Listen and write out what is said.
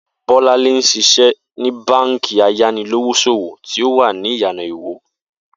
Bó̩láńlé ń s̩is̩é ní báǹkì ayanilówós̩òwò tí ó wà ní Ìyànà Iwó